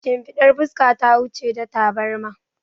Shimfidar fuska ta wuce ta tabarma